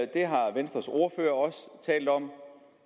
det har venstres ordfører også talt om